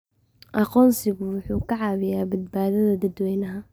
Aqoonsigu wuxuu caawiyaa badbaadada dadweynaha.